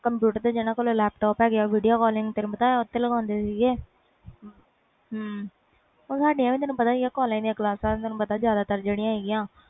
computer ਤੇ ਜਿਨ੍ਹਾਂ ਕੋਲ laptop ਹੁੰਦੇ ਸੀ ਓਥੇ ਲਗਾ ਦੇ ਸੀ ਉਹ ਸਾਡੀਆਂ collage ਦੀਆ ਕਲਾਸ ਲੱਗ ਦੀਆ ਹੁੰਦੀਆਂ ਸੀ